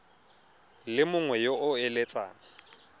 le mongwe yo o eletsang